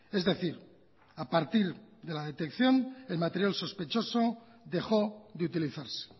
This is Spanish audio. es decir a partir de la detección el material sospechoso dejó de utilizarse